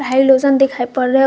halogen दिखाई पड़ रहे--